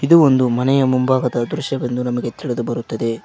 ಇದು ಒಂದು ಮನೆಯ ಮುಂಭಾಗದ ದೃಶ್ಯ ಎಂದು ನಮಗೆ ತಿಳಿದುಬರುತ್ತದೆ.